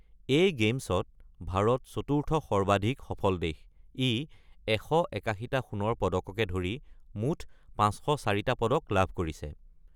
এই গেমছত ভাৰত চতুৰ্থ সৰ্বাধিক সফল দেশ; ই ১৮১টা সোণৰ পদককে ধৰি মুঠ ৫০৪টা পদক লাভ কৰিছে।